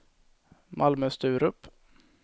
Malmö-Sturup